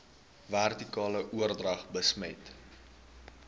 vertikale oordrag besmet